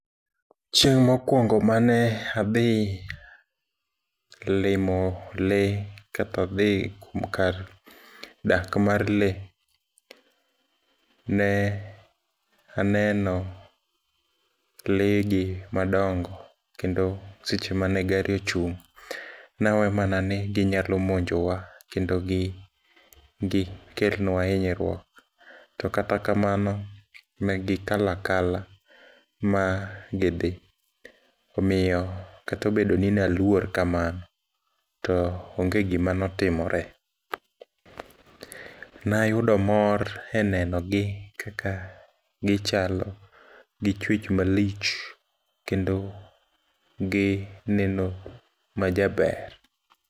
Chieng' mokuongo mane adhi limo lee, kata dhi kar dak mar lee, ne aneno lee gi madongo, kendo seche mane gari ochung' nawe manani ginyalo muonjowa, kendo gikelnwa hinyruok. To kata kamano negikalo akala magidhi, omiyo kata obedoni naluor kamano, to onge gima notimore. Nayudo mor e nenogi kaka gichalo, gi chwech malich, kendo gineno majaber.